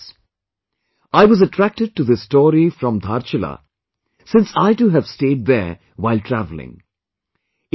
In innovative ways...I was attracted to this story from Dhaarchulaa since I too have stayed there while travelling